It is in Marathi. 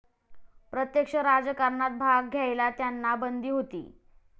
प्रत्यक्ष राजकारणात भाग घ्यायला त्यांना बंदी होती.